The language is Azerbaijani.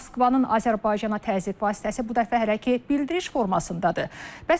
Moskvanın Azərbaycana təzyiq vasitəsi bu dəfə hələ ki bildiriş formasındadır.